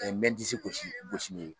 mɛ n disi gosi gosi